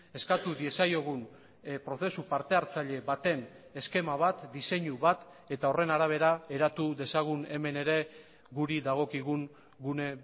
eskatu diezaiogun prozesu partehartzaile baten eskema bat diseinu bat eta horren arabera eratu dezagun hemen ere guri dagokigun gune